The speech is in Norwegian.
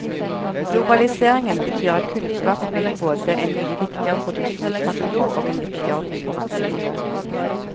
Globaliseringen betyr at kunnskap er blitt både en mye viktigere produksjonsfaktor og en viktigere konkurransefaktor.